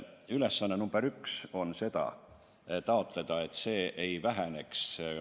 Ülesanne number üks on taotleda, et see ei väheneks.